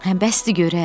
Hə bəsdi görək.